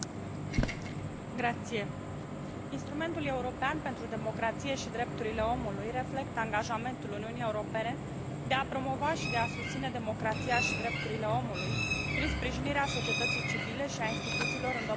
Instrumentul european pentru democrație și drepturile omului reflectă angajamentul Uniunii Europene de a promova și de a susține democrația și drepturile omului prin sprijinirea societății civile și a instituțiilor în domeniul drepturilor omului la scară mondială.